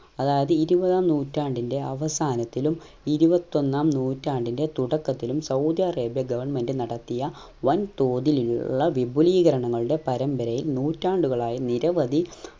അതായത് ഇരുവതാം നൂറ്റാണ്ടിൻറെ അവസാനത്തിലും ഇരുവത്തൊന്നാം നൂറ്റാണ്ടിന്റെ തൊടാകത്തിലും സൗദ്യ അറേബിയ government നടത്തിയ വൻ തോതിലുള്ള വിപുലീകരങ്ങളുടെ പരമ്പരയെ നൂറ്റാണ്ടുകളായി നിരവധി